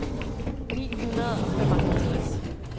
ni hundrede og femoghalvtreds